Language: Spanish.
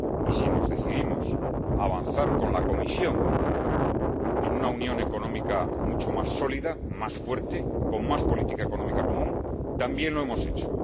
Y si nos decidimos a avanzar con la Comisión en una unión económica mucho más sólida, más fuerte, con más política económica común, también lo hemos hecho.